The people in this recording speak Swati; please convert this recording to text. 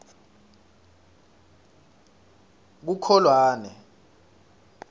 kukholwane